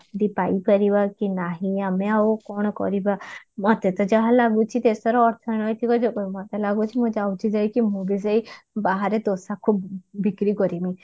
ଚାକିରି ପାଇ ପାରିବା କି ନାହିଁ ଆମେ ଆଉ କଣ କରିବା ମତେତ ଯାହା ଲାଗୁଛି ଦେଶର ଅର୍ଥନୈତିକ ଯୋଗୁ ମତେ ଲାଗୁଛି ମୁଁ ଯାଉଛି ଯାଇକି ମୁଁ ବି ସେଇ ବାହାରେ ଦୋସାକୁ ବିକ୍ରି କରିମି